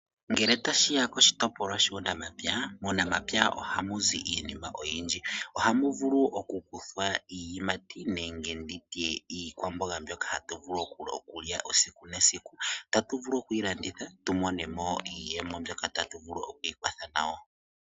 Ngele tashi ya koshitopolwa shuunamapya, muunamapya ohamu zi iinima oyindji. Ohamu vulu okukuthwa iiyimati nenge ndi tye iikwamboga mbyoka hatu vulu okulya esiku nesiku. Otatu vulu okuyi landitha tu mone mo iiyemo mbyoka tatu vulu oku ikwatha nayo.